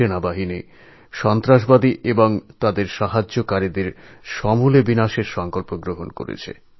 সেনারা সন্ত্রাসবাদীদের এবং তাদের মদতকারীদের কীভাবে সমূলে ধ্বংস করা যায় তার সঙ্কল্প নিয়েছে